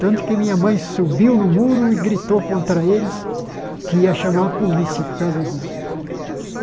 Tanto que minha mãe subiu no muro e gritou contra eles que ia chamar a polícia por causa disso.